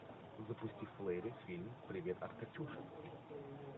запусти в плеере фильм привет от катюши